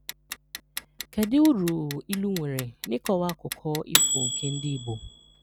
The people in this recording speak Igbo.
Kedu uru ilu nwere n’ịkọwa akụkọ ifo nke ndị Igbo?